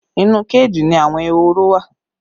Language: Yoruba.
Inú kéèjì ni àwọn ehoro wa